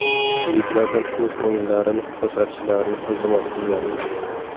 Yigitlardan o‘z o‘yinlarini ko‘rsatishlarini iltimos qilgandik.